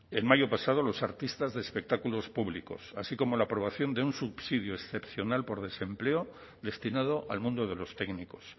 en mayo pasado los artistas de espectáculos públicos así como la aprobación de un subsidio excepcional por desempleo destinado al mundo de los técnicos